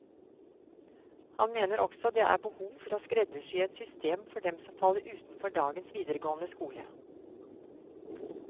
Han mener også det er behov for å skreddersy et system for dem som faller utenfor dagens videregående skole.